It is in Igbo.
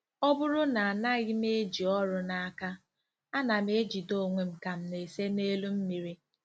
" Ọ bụrụ na anaghị m eji ọrụ n'aka, ana m ejide onwe m ka m na-ese n'elu mmiri.